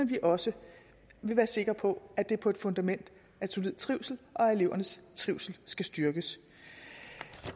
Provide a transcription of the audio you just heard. vi også vil være sikre på at det er på et fundament af solid trivsel og at elevernes trivsel styrkes